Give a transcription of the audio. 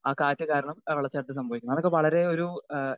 Speaker 2 ആ കാറ്റ് കാരണം വെള്ളച്ചാട്ടത്തിൽ സംഭവിക്കുന്നത്. അതൊക്കെ വളരെ ഒരു അഹ്